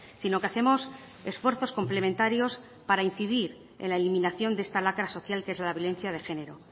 sino que hacemos esfuerzos complementarios para incidir en la eliminación de esta lacra social que es la violencia de género